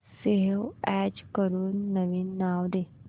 save as करून नवीन नाव दे